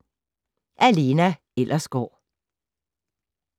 Af Lena Ellersgaard